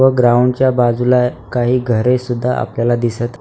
व ग्राउंड च्या बाजूला काही घरे सुद्धा आपल्याला दिसत --